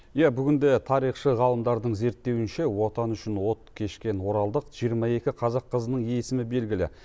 иә бүгінде тарихшы ғалымдардың зерттеуінше отан үшін от кешкен оралдық жиырма екі қазақ қызының есімі белгілі